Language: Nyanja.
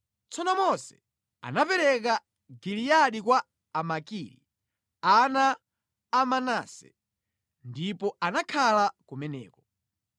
Tsono Mose anapereka Giliyadi kwa Amakiri, ana a Manase, ndipo anakhala kumeneko.